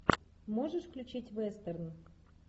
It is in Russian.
можешь включить вестерн